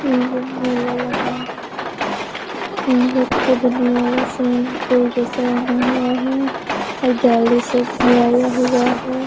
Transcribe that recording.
यहाँ पे मेला लगा हुआ है यहाँ पे एक खुदने वाला स्विमिंग पूल जैसा बना हुआ है और जाली घेराया हुआ है।